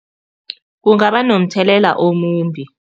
Kungaba nomthelela omumbi.